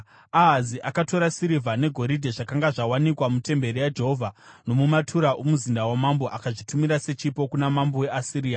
Ahazi akatora sirivha negoridhe zvakanga zvawanikwa mutemberi yaJehovha nomumatura omuzinda wamambo akazvitumira sechipo kuna mambo weAsiria.